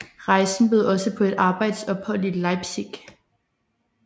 Rejsen bød også på et arbejdsophold i Leipzig